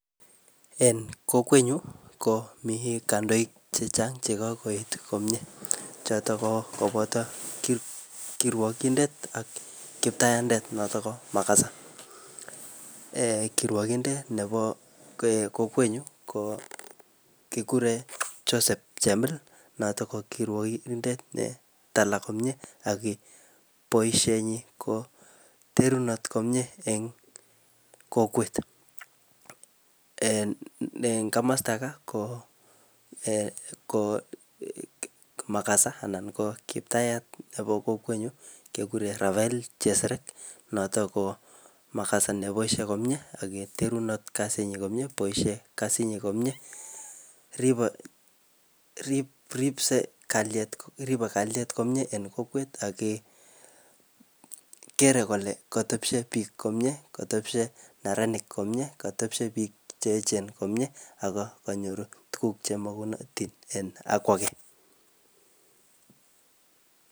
En kokwet nyu, komii kandoik chechang' che kokoet komyee. Chotok ko koboto kirwokindet ak kiptayandet, notok ko mukasa. [um]Kirwokindet nebo um kokwet nyu, ko kikure Joseph Chemil. Notok ko kirwokindet ne tala komyee, ak ki boisiet nyi koterunot komyee eng kokwet. En komasta ka, ko um ko mukasa anan ko kiptayat nebo kokwet nyu, kekure Rafael Cheseret. Notok ko mukasa neboisie komyee, akoterunot kasit nyii komyee, boisie kasit komyee. Ripsee, kalyet ribe komyee en kokwet, ake kere kole kotepshee biik komyee, kotepshe neranik komyee, katepshe biik che echen komyee, ako kanyoru tuguk che magunotin en